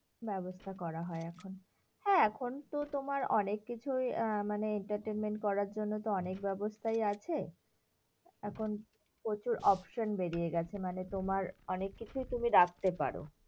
ব্যবস্থা করা হয় এখন। হ্যাঁ, এখন তো তোমার অনেক কিছুই মানে entertainment করার জন্য তো অনেক ব্যবস্থাই আছে। এখন প্রচুর option বেরিয়ে গেছে মানে তোমার অনেককিছুই তুমি রাখতে পারো।